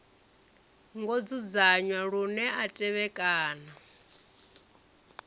ngo dzudzanywa lune a tevhekana